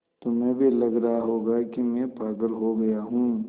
तुम्हें भी लग रहा होगा कि मैं पागल हो गया हूँ